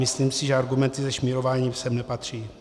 Myslím si, že argumenty ze šmírování sem nepatří.